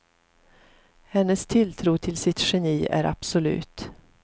Hennes tilltro till sitt geni är absolut.